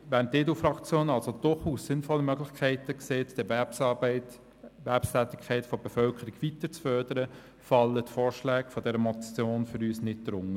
Während die EDU-Fraktion also durchaus sinnvolle Möglichkeiten sieht, die Erwerbstätigkeit der Bevölkerung weiter zu fördern, fallen die Vorschläge dieser Motion für uns nicht darunter.